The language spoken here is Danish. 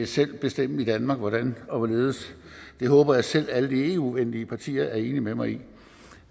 selv bestemme i danmark hvordan og hvorledes jeg håber at selv alle de eu venlige partier er enige med mig i